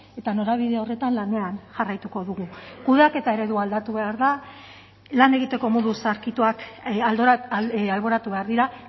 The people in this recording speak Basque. eta norabide horretan lanean jarraituko dugu kudeaketa eredua aldatu behar da lan egiteko modu zaharkituak alboratu behar dira